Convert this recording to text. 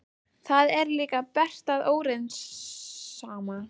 Það er líka bert að óreiðusamir